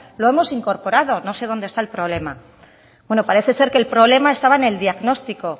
lo hemos incorporado no sé dónde está el problema bueno parece ser que el problema estaba en el diagnóstico